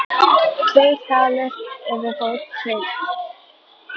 Tveir dalir yfirbót tveir dalir.